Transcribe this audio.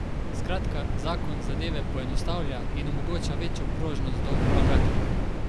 Skratka, zakon zadeve poenostavlja in omogoča večjo prožnost do vlagateljev.